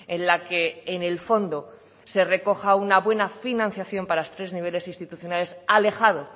en la que en el fondo se recoja una buena financiación para los tres niveles instituciones alejado